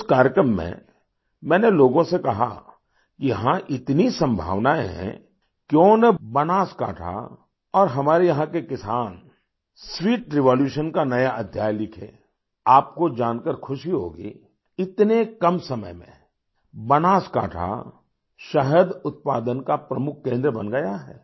उस कार्यक्रम में मैंने लोगों से कहा यहाँ इतनी संभावनाएं हैं क्यों न बनासकांठा और हमारे यहाँ के किसान स्वीट रेवोल्यूशन का नया अध्याय लिखें आपको जानकर खुशी होगी इतने कम समय में बनासकांठा शहद उत्पादन का प्रमुख केंद्र बन गया है